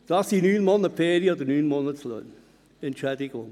Das entspricht einer Entschädigung von 9 Monaten Ferien oder 9 Monatslöhnen.